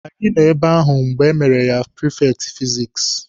Anyị nọ ebe ahụ mgbe emere ya prifekti fizikisi.